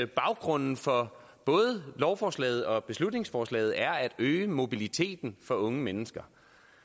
baggrunden for både lovforslaget og beslutningsforslaget er at øge mobiliteten for unge mennesker